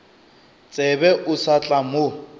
tsebe o sa tla mo